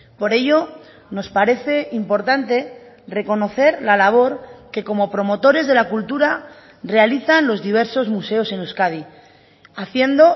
por ello nos parece importante reconocer la labor que como promotores de la cultura realizan los diversos museos en euskadi haciendo